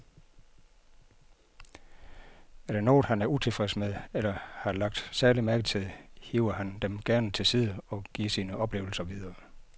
Er der noget, han er utilfreds med eller har lagt særlig mærke til, hiver han dem gerne til side og giver sine oplevelser videre.